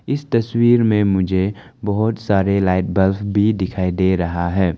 इस तस्वीर में मुझे बहोत सारे लाइट बल्ब भी दिखाई दे रहा है।